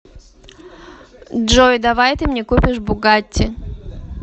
джой давай ты мне купишь бугатти